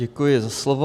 Děkuji za slovo.